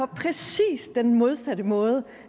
på præcis den modsatte måde